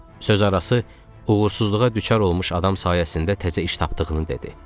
Sözarası uğursuzluğa düçar olmuş adam sayəsində təzə iş tapdığını dedi.